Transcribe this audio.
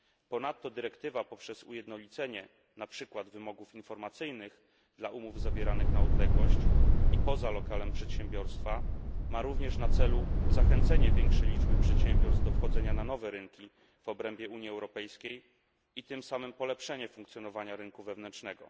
Ponadto dyrektywa poprzez ujednolicenie, na przykład wymogów informacyjnych dla umów zawieranych na odległość i poza lokalem przedsiębiorstwa, ma również na celu zachęcenie większej liczby przedsiębiorstw do wchodzenia na nowe rynki w obrębie Unii Europejskiej i tym samym polepszenie funkcjonowania rynku wewnętrznego.